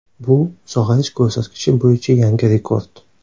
Bu sog‘ayish ko‘rsatkichi bo‘yicha yangi rekord.